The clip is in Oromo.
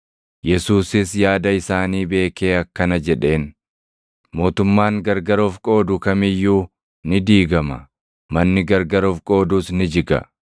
Yesuusis yaada isaanii beekee akkana jedheen; “Mootummaan gargar of qoodu kam iyyuu ni diigama; manni gargar of qoodus ni jiga.